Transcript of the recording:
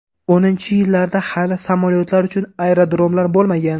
O‘ninchi yillarda hali samolyotlar uchun aerodromlar bo‘lmagan.